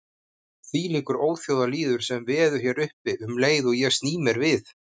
Þvílíkur óþjóðalýður sem veður hér uppi um leið og ég sný mér við.